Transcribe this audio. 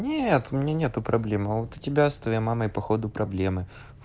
нет у меня нету проблема а вот тебя с твоей мамой по ходу проблемы